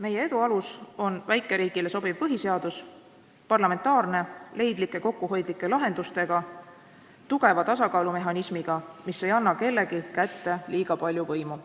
Meie edu alus on väikeriigile sobiv põhiseadus: parlamentaarne, leidlike ja kokkuhoidlike lahendustega, tugeva tasakaalumehhanismiga, mis ei anna kellegi kätte liiga palju võimu.